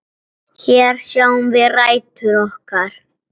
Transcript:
Hér sjáum við rætur okkar.